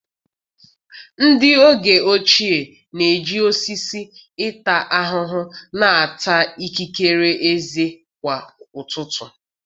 Ndị oge ochie na-eji osisi ịta ahụhụ na-ata ikikere ezé kwa ụtụtụ.